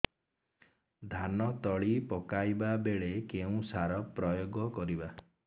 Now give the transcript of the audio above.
ଧାନ ତଳି ପକାଇବା ବେଳେ କେଉଁ ସାର ପ୍ରୟୋଗ କରିବା